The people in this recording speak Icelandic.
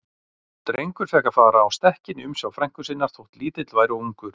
Drengur fékk að fara á stekkinn í umsjá frænku sinnar, þótt lítill væri og ungur.